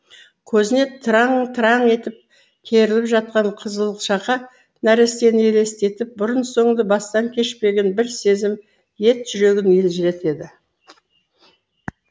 көзіне тыраң тыраң етіп керіліп жатқан қызылшақа нәрестені елестетіп бұрын соңды бастан кешпеген бір сезім ет жүрегін елжіретеді